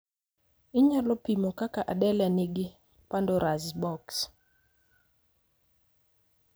Inyalo pimo kaka Adele ne nigi pandora's box